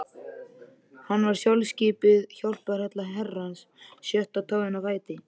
Hann var sjálfskipuð hjálparhella Herrans, sjötta táin á fæti